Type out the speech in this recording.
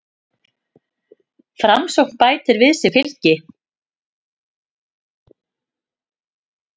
Framsókn bætir við sig fylgi